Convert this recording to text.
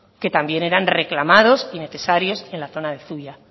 que también eran reclamados y necesarios en la zona de zuia